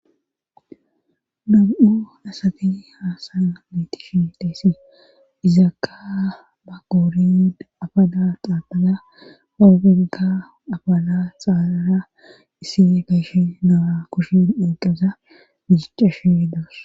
num7u dasati haasaya laytishin teesse izaakka ba goori abada qaaqaza aobegga abala xaaara issi gayshe noa kushin eeqesa gijiccashe hidoos